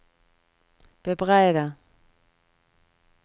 bebreide